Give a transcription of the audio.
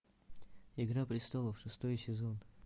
игра престолов шестой сезон